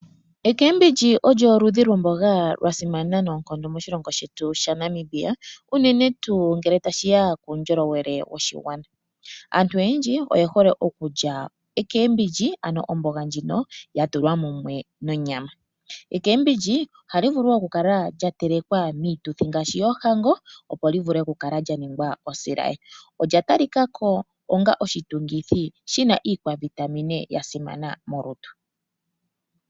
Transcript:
ECabbage olyo oludhi lwa simana nayi noonkondo moshilongo shetu shaNamibia. Uunene tuu ngele tashiya kuundjolowele woshigwana. Aantu oyendji oye hole okulya omboga yuushimba. Ano omboga ndjino ya tulwa mumwe nonyama. Omboga yuushimba ohayi vulu wo oku kala ya telekelwa miituthi ngaashi yoohango opo li vule oku kala lya ningwa osilaye. Olya tali kako onga iitungithi yina ovitamine molutu.